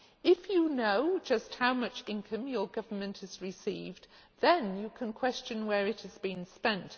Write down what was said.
If you know just how much income your government has received, then you can question where it has been spent.